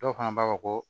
Dɔw fana b'a fɔ ko